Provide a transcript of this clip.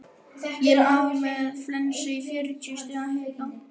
Ég lá í rúminu með flensu og fjörutíu stiga hita.